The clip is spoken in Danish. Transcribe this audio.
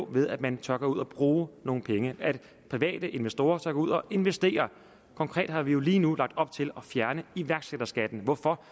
det ved at man tør gå ud og bruge nogle penge at private investorer tør gå ud og investere konkret har vi jo lige nu lagt op til at fjerne iværksætterskatten hvorfor